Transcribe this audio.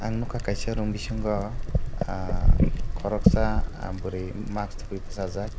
ang nogka kaisa room bisingo ah koroksa bwri mask topoi bosajak.